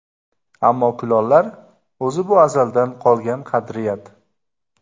Ammo kulollar... O‘zi bu azaldan qolgan qadriyat.